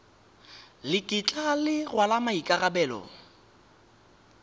le kitla le rwala maikarabelo